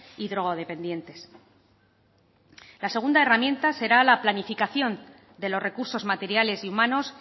y drogodependientes la segunda herramienta será la planificación de los recursos materiales y humanos